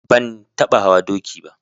Ban taɓa hawa doki ba.